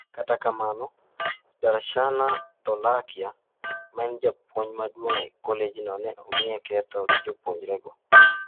Kata kamano, Darshana Dholakia, maen japuonj maduong' e kolejno ne omiye ketho gi jopuonjrego.